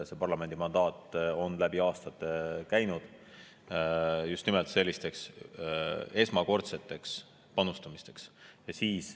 See parlamendi mandaat on läbi aastate olnud just nimelt selliste esmakordsete panustamiste tarvis.